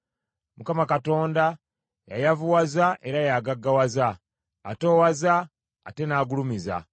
Mukama Katonda y’ayavuwaza era y’agaggawaza; atoowaza ate n’agulumiza.